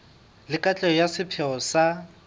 le katleho ya sepheo sa